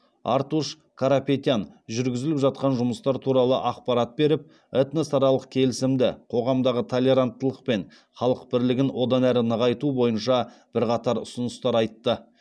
артуш карапетян жүргізіліп жатқан жұмыстар туралы ақпарат беріп этносаралық келісімді қоғамдағы толеранттылық пен халық бірлігін одан әрі нығайту бойынша бірқатар ұсыныстар айтты